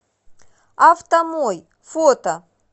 автомой фото